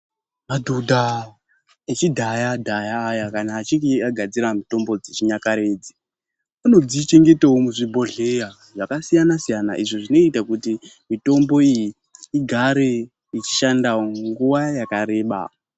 Madhodha echidhaya dhaya aya kana achinge agadzira mitombo dzechinyakare idzi, anodzichengetawo muzvibhodhleya zvakasiyana siyana izvo zvinoita kuti mitombo iyi igare ichishandawo nguwa yakareba.